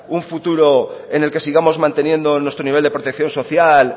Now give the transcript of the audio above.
un futuro en el que sigamos manteniendo nuestro nivel de protección social